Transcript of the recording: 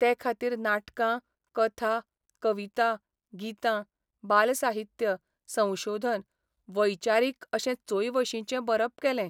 ते खातीर नाटकां, कथा, कविता, गितां, बालसाहित्य, संशोधन, वैचारीक अशें चोंयवशींचें बरप केलें.